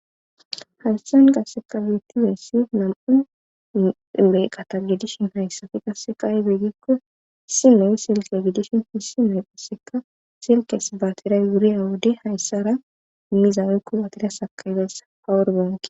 hayssan qasseka witiyeyssi nam7u meyqata gidishin hayssafi qasseka ibiigikko si moy silke gidishin hisi meephisseka silkes baatiray wuriya wode hayssara immiza woyko batira sakayizayssa fawur banke